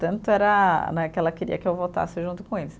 Tanto era né, que ela queria que eu voltasse junto com eles.